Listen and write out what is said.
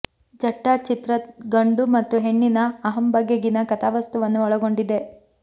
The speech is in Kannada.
ಜಟ್ಟಾ ಚಿತ್ರ ಗಂಡು ಮತ್ತು ಹೆಣ್ಣಿನ ಅಹಂ ಬಗೆಗಿನ ಕಥಾವಸ್ತುವನ್ನು ಒಳಗೊಂಡಿದೆ